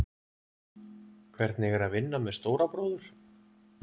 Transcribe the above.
Hvernig er að vinna með stóra bróður?